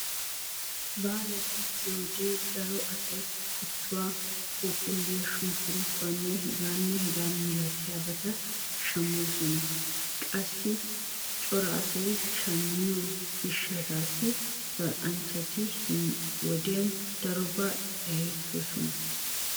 Baalay gakkiyoodee daro asay kuttuwa, phuuphulliyaa, sunkkuruutuwaanne hegaa malatiyaabata shammoosona. Qassikka cora asay shammiyoo gishshataasi zal"anchanchati he wodiyaan darobaa adhdhettoosona.